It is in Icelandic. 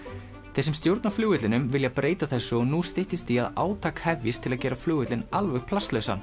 þeir sem stjórna flugvellinum vilja breyta þessu og nú styttist í að átak hefjist til að gera flugvöllinn alveg